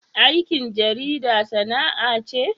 Aikin jarida sana'a ce?